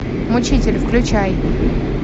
мучитель включай